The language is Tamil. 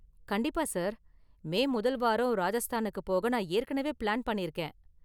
கண்டிப்பா சார். மே முதல் வாரம் ராஜஸ்தானுக்கு போக நான் ஏற்கனவே பிளான் பண்ணிருக்கேன்.